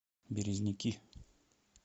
березники